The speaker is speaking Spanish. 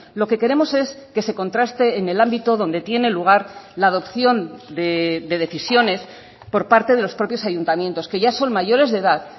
lo que queremos es que se contraste en el ámbito donde tiene lugar la adopción de decisiones por parte de los propios ayuntamientos que ya son mayores de edad